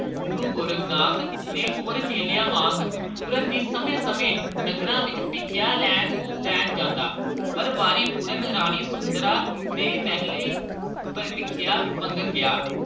ਗੁਰੂ ਗੋਰਖਨਾਥ ਨੇ ਹੋਰ ਚੇਲਿਆਂ ਵਾਂਗ ਪੂਰਨ ਦੀ ਸਮੇਂ -ਸਮੇਂ ਨਗਰਾਂ ਵਿਚ ਭੀਖਿਆ ਲੈਣ ਜਾਂਦਾ ਪਰ ਵਾਰੀ ਪੂਰਨ ਰਾਣੀ ਸੁੰਦਰਾਂ ਦੇ ਮਹਿਲੇ ਭੀਖਿਆ ਮੰਗਣ ਗਿਆ